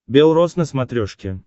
белрос на смотрешке